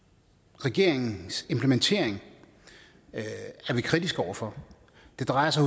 regeringens implementering er vi kritiske over for det drejer sig